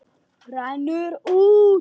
Rennur út.